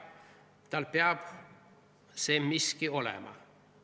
Tal peab see miski olema.